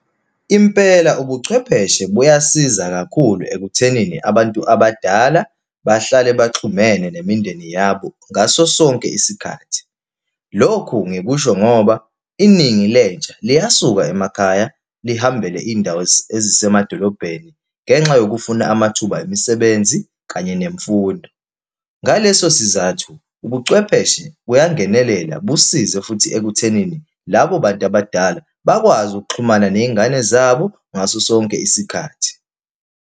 Impela ubuchwepheshe buyasiza kakhulu ekuthenini abantu abadala bahlale baxhumene nemindeni yabo ngaso sonke isikhathi. Lokhu ngikusho ngoba iningi lentsha liyasuka emakhaya lihambile iy'ndawo ezisemadolobhedeni, ngenxa yokufuna amathuba emisebenzi, kanye nemfundo. Ngaleso sizathu, ubucwepheshe buyangenelela busize futhi ekuthenini labo bantu abadala bakwazi ukuxhumana ney'ngane zabo ngaso sonke isikhathi.